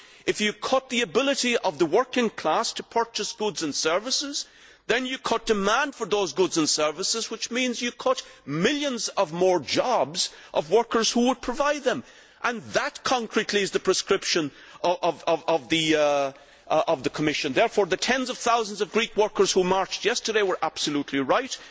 If you cut the ability of the working class to purchase goods and services, then you cut demand for those goods and services, which means you cut millions more jobs of workers who would provide them. That, concretely, is the prescription of the Commission. Therefore, the tens of thousands of Greek workers who marched yesterday were absolutely right.